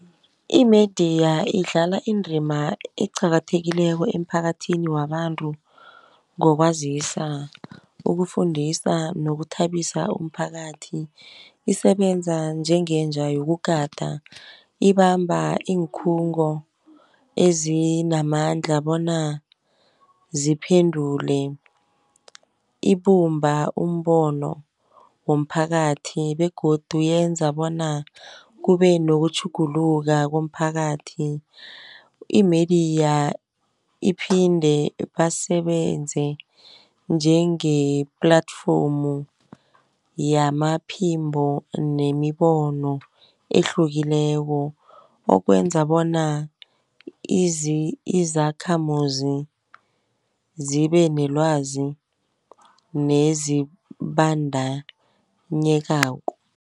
Imidiya idlala indrima eqakathekileko emphakathini wabantu, ngokwazisa ukufundisa, nokuthabisa umphakathi. Isebenza njengenja yokugada, ibamba iinkhungo ezinamandla, bona ziphendule. Ibumba umbono womphakathi begodu yenza bona kube nokutjhugulula komphakathi. Imidiya iphinde basebenze njengeplatform yamaphimbo nemibono ehlukileko. Okwenza bona izakhamuzi zibenelwazi nezibandanyekako.